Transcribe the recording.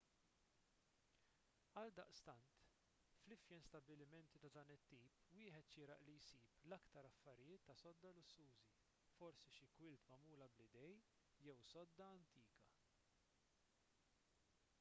għaldaqstant fl-ifjen stabbilimenti ta' dan it-tip wieħed xieraq li jsib l-aktar affarijiet tas-sodda lussużi forsi xi kwilt magħmula bl-idejn jew sodda antika